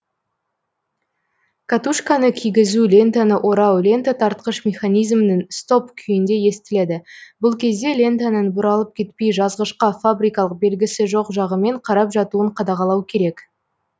катушканы кигізу лентаны орау лента тартқыш механизмнің стоп күйінде естіледі бұл кезде лентаның бұралып кетпей жазғышқа фабрикалық белгісі жоқ жағымен қарап жатуын қадағалау керек